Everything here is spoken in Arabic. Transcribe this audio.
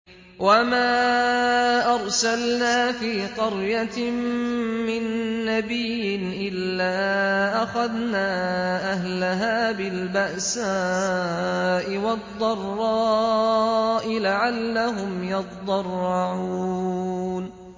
وَمَا أَرْسَلْنَا فِي قَرْيَةٍ مِّن نَّبِيٍّ إِلَّا أَخَذْنَا أَهْلَهَا بِالْبَأْسَاءِ وَالضَّرَّاءِ لَعَلَّهُمْ يَضَّرَّعُونَ